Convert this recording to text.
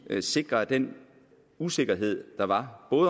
at sikre at den usikkerhed der var